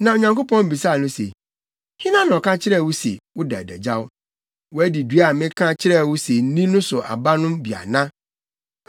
Na Onyankopɔn bisaa no se, “Hena na ɔka kyerɛɛ wo se na woda adagyaw? Woadi dua a meka kyerɛɛ wo se nni so aba no bi ana?”